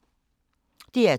DR2